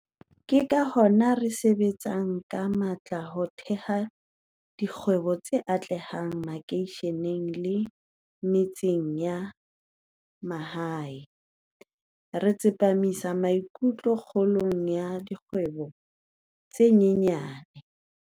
Ke ka hona re sebetsang ka matla ho theha dikgwebo tse atlehang makeisheneng le metseng ya mahae, re tsepa misang maikutlo kgolong ya dikgwebo tse nyenyane.